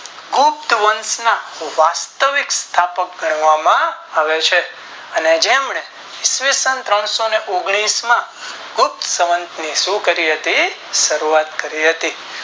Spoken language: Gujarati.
ગુપ્ત વંશ ના વાસ્તવિક સ્થાપક ગણવામાં આવે છે અને જેમને ઈસવીસન ત્રણસો ને ઓગણીસ માં ગુપ્ત સંવત ની શું કરી હતી શરૂઆત કરી હતી